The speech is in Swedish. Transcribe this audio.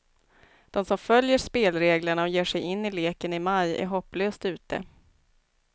De som följer spelreglerna och ger sig in i leken i maj är hopplöst ute.